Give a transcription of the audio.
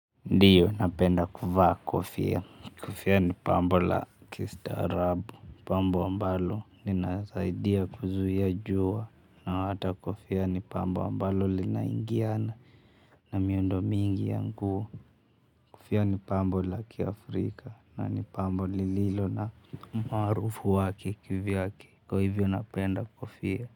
Ndiyo napenda kuvaa kofia. Kofia ni pambo la kistaarabu, pambo ambalo linasaidia kuzuia jua na hata kofia ni pambo ambalo linaingiana na miundo mingi ya nguo. Kofia ni pambo la kiafrika na ni pambo lililo na umaarufu wake kivyake kwa hivyo napenda kofia.